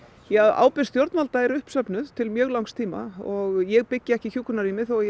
ábyrgð stjórnvalda er uppsöfnuð til mjög langs tíma og ég byggi ekki hjúkrunarrými þó ég